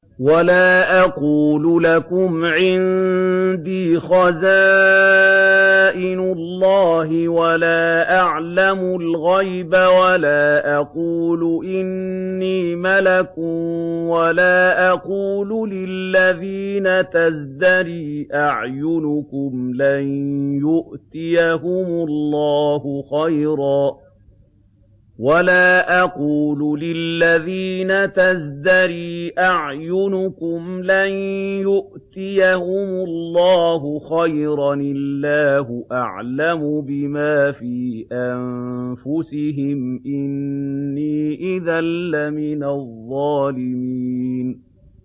وَلَا أَقُولُ لَكُمْ عِندِي خَزَائِنُ اللَّهِ وَلَا أَعْلَمُ الْغَيْبَ وَلَا أَقُولُ إِنِّي مَلَكٌ وَلَا أَقُولُ لِلَّذِينَ تَزْدَرِي أَعْيُنُكُمْ لَن يُؤْتِيَهُمُ اللَّهُ خَيْرًا ۖ اللَّهُ أَعْلَمُ بِمَا فِي أَنفُسِهِمْ ۖ إِنِّي إِذًا لَّمِنَ الظَّالِمِينَ